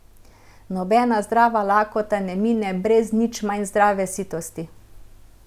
Nobena zdrava lakota ne mine brez nič manj zdrave sitosti.